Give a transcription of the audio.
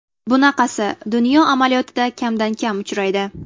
Bunaqasi dunyo amaliyotida kamdan-kam uchraydi.